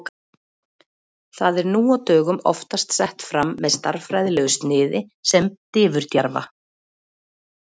Það er nú á dögum oftast sett fram með stærðfræðilegu sniði sem diffurjafna.